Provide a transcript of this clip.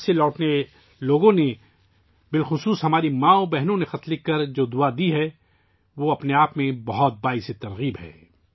حج سے واپس آنے والے لوگوں کو خصوصاً ہماری ماؤں بہنوں نے اپنے خطوط کے ذریعے ، جو آشیرواد دیا ہے ، وہ اپنے آپ میں بہت متاثر کن ہے